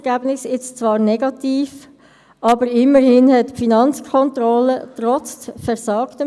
Ich gebe als Erstes der Sprecherin der FiKo, Béatrice Stucki, das Wort.